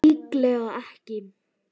Líklega ekki.